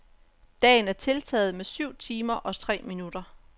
Dagen er tiltaget med syv timer og tre minutter.